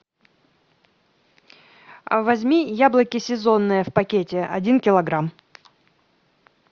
возьми яблоки сезонные в пакете один килограмм